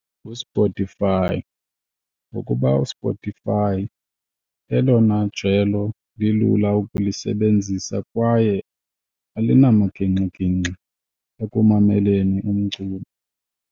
NguSpotify ngokuba uSpotify lelona jelo lilula ukulisebenzisa kwaye alinamaginxiginxi ekumameleni umculo.